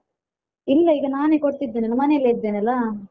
ಇಲ್ಲ ಈಗ ನಾನೇ ಕೊಡ್ತಿದ್ದೇನೆ ಅಲ್ಲಾ ಮನೇಲಿ ಇದ್ದೇನಲ್ಲಾ.